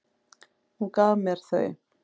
Hún gaf mér þau.